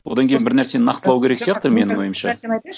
одан кейін бір нәрсені нақтылау керек сияқты менің ойымша